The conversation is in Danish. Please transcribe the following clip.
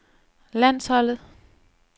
landsholdet